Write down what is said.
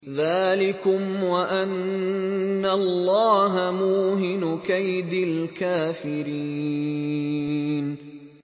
ذَٰلِكُمْ وَأَنَّ اللَّهَ مُوهِنُ كَيْدِ الْكَافِرِينَ